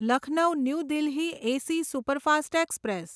Lucknow new Delhi AC superfast express